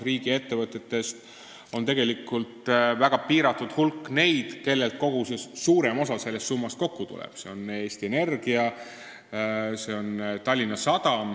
Nagu me teame, tegelikult on väga piiratud hulk neid riigiettevõtteid, kust suurem osa sellest summast kokku tuleb .